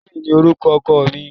Steven ni orúkọ oko mi